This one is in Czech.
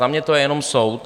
Za mě to je jenom soud.